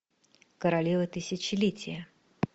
королева тысячелетия